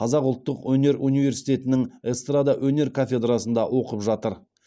қазақ ұлттық өнер университетінің эстрада өнер кафедрасында оқып жатыр